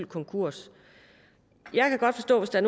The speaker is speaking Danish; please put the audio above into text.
konkurs jeg kan godt forstå hvis der